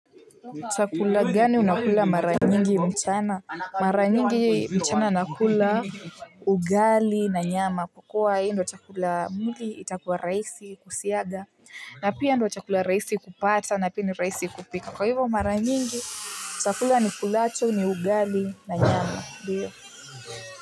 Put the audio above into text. Chakula gani unakula mara nyingi mchana? Mara nyingi mchana nakula ugali na nyama kukua hiindio chakula mwili itakuwa rahisi kusiaga na pia hiindio chakula rahisi kupata na pia ni rahisi kupika kwa hivo mara nyingi chakula nikulacho ni ugali na nyama.